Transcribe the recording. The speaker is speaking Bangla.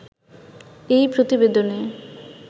এই প্রতিবেদনে